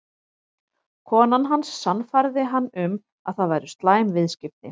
Konan hans sannfærði hann um að það væru slæm viðskipti.